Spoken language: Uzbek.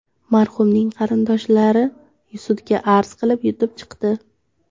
Marhumning qarindoshlari sudga arz qilib, yutib chiqdi.